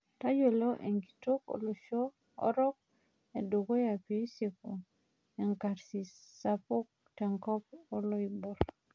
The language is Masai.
Tayiolo enkitok olosho orok edukuya pisku enkarsis sapuk tenkop oloibor